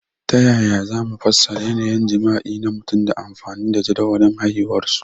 Ta yaya za mu fassara yanayin jima'i na mutum ta amfani da jadawalin haihuwarsu?